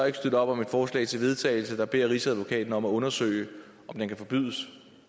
ikke støtte op om et forslag til vedtagelse der beder rigsadvokaten om at undersøge om den kan forbydes